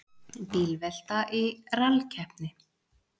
Bílvelta í rallkeppni